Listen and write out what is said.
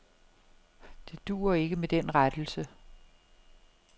Det duer ikke med den rettelse.